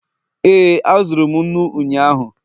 ee, azụrụ m nnu ụnyahụ